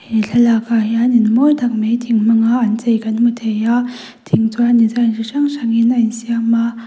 he thlalak ah hian in mawi tak mai thing hmanga an chei kan hmu thei a thing chuan design chi hrang hrang in a in siam a.